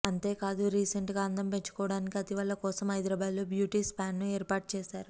అంతే కాదు రీసెంట్ గా అందం పెంచుకోవడానికి అతివల కోసం హైదరాబాద్ లో బ్యూటీ స్పాన్ ఏర్పాటు చేసారు